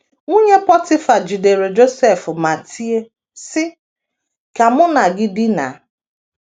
Nwunye Pọtịfa jidere Josef ma tie, sị: “ Ka mụ na gị dinaa. ”